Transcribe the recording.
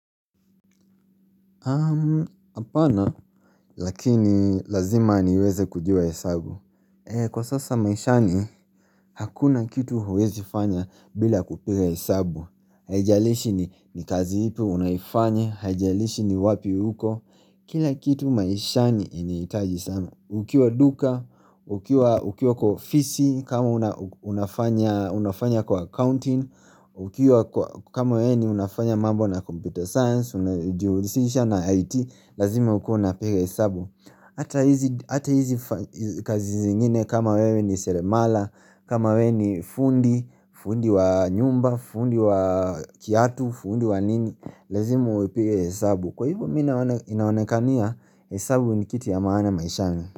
Apana, lakini lazima niweze kujua hesabu Kwa sasa maishani, hakuna kitu huwezi fanya bila kupiga hesabu Haijalishi ni kazi ipi unaifanya, hajalishi ni wapi huko Kila kitu maishani iniitaji sana Ukiwa duka, ukiwa ukiwa kwa ofisi, kama unafanya kwa accounting Ukiwa kwa kama wewe ni unafanya mambo na computer science na IT lazima ukuwe unapiga hesabu ata hizi kazi zingine kama wewe ni seremala kama wewe ni fundi fundi wa nyumba fundi wa kiatu fundi wa nini lazima uwe pika hesabu kwa hivyo mi na inaonekania hesabu ni kiti ya maana maishani.